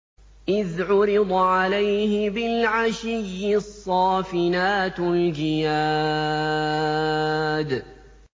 إِذْ عُرِضَ عَلَيْهِ بِالْعَشِيِّ الصَّافِنَاتُ الْجِيَادُ